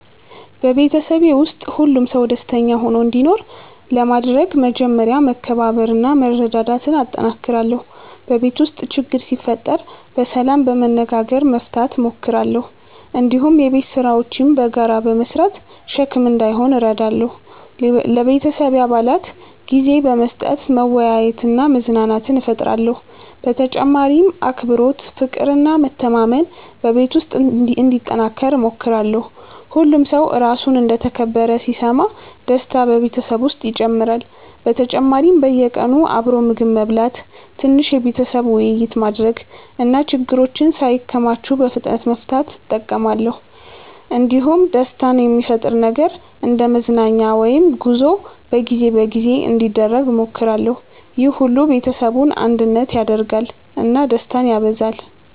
በቤተሰቤ ውስጥ ሁሉም ሰው ደስተኛ ሆኖ እንዲኖር ለማድረግ መጀመሪያ መከባበርና መረዳዳት እጠነክራለሁ። በቤት ውስጥ ችግር ሲፈጠር በሰላም በመነጋገር መፍታት እሞክራለሁ። እንዲሁም የቤት ስራዎችን በጋራ በመስራት ሸክም እንዳይሆን እረዳለሁ። ለቤተሰቤ አባላት ጊዜ በመስጠት መወያየትና መዝናናት እፈጥራለሁ። በተጨማሪም አክብሮት፣ ፍቅር እና መተማመን በቤት ውስጥ እንዲጠናከር እሞክራለሁ። ሁሉም ሰው ራሱን እንደ ተከበረ ሲሰማ ደስታ በቤተሰብ ውስጥ ይጨምራል። በተጨማሪም በየቀኑ አብሮ ምግብ መብላት፣ ትንሽ የቤተሰብ ውይይት ማድረግ እና ችግሮችን ሳይከማቹ በፍጥነት መፍታት እጠቀማለሁ። እንዲሁም ደስታ የሚፈጥር ነገር እንደ መዝናኛ ወይም ጉዞ በጊዜ በጊዜ እንዲደረግ እሞክራለሁ። ይህ ሁሉ ቤተሰቡን አንድነት ያደርጋል እና ደስታን ያበዛል።